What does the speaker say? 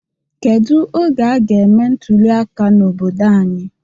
Kedụ oge aga eme ntụliaka n'obodo anyị?